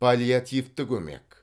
паллиативті көмек